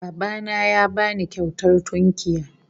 Baba na ya ba ni kyautar tunkiya